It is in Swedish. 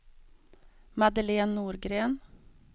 Madeleine Norgren